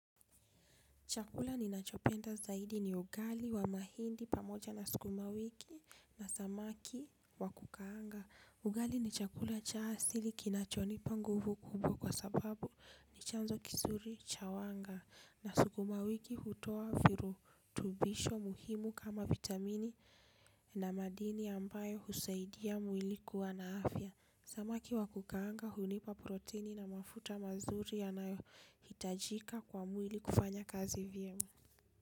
Chakula ninachopenda zaidi ni ugali wa mahindi pamoja na sukuma wiki na samaki wakukaanga. Ugali ni chakula cha asili kinachonipa nguvu kubwa kwa sababu ni chanzo kizuri cha wanga. Na sukuma wiki hutoa virutubisho muhimu kama vitamini na madini ambayo husaidia mwili kuwa na afya. Samaki wa kukaanga, hunipa protini na mafuta mazuri yanayohitajika kwa mwili kufanya kazi vyema.